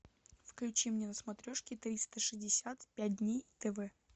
включи мне на смотрешке триста шестьдесят пять дней тв